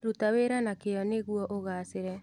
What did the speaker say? Ruta wĩra na kĩŨ nĩguo ũgacĩre.